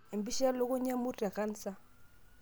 Empisha elukunya wemurt te kansa.